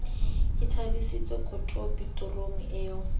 e thabisitse kotopi torong eo